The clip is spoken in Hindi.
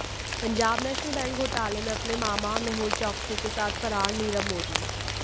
पंजाब नेशनल बैंक घोटाले में अपने मामा मेहुल चोकसी के साथ फरार नीरव मोदी